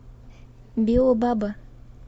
биобаба